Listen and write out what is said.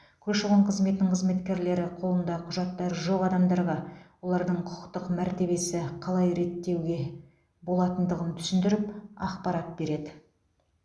көші қон қызметінің қызметкерлері қолында құжаттары жоқ адамдарға олардың құқықтық мәртебесін қалай реттеуге болатындығын түсіндіріп ақпарат береді